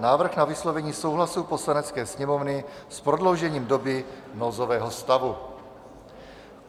Návrh na vyslovení souhlasu Poslanecké sněmovny s prodloužením doby nouzového stavu